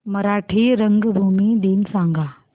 मराठी रंगभूमी दिन सांगा